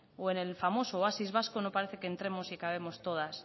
o en el famoso oasis vasco no parece que entremos y cabemos todas